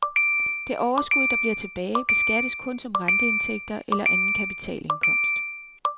Det overskud, der bliver tilbage, beskattes kun som renteindtægter eller anden kapitalindkomst.